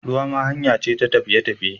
Ruwa ma hanyake ta tafiye tafiye